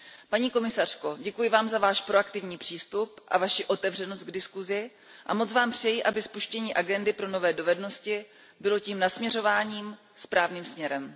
Paní komisařko, děkuji Vám za Váš proaktivní přístup a Vaši otevřenost k diskusi a moc Vám přeji, aby spuštění agendy pro nové dovednosti bylo tím nasměrováním správným směrem.